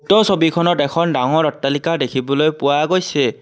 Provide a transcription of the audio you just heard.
উক্ত ছবিখনত এখন ডাঙৰ অট্টালিকা দেখিবলৈ পোৱা গৈছে।